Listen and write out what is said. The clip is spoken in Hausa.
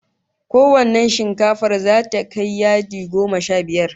Ko wannan leshin zata kai yadi goma sha biyu?